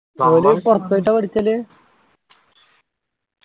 അവര് പുറത്തു പോയിട്ടാ ആ പഠിച്ചലു